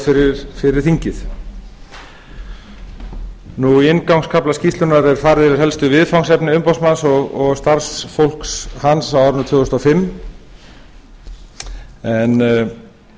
er lögð fyrir þingið í inngangskafla skýrslunnar er farið yfir helstu viðfangsefni umboðsmanns og starfsfólks hans á árinu tvö þúsund og fimm en